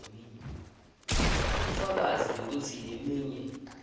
bufakazi bekutsi leminye